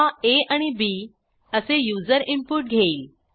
हा आ आणि bअसे युजर इनपुट घेईल